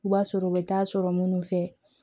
U b'a sɔrɔ u bɛ taa sɔrɔ minnu fɛ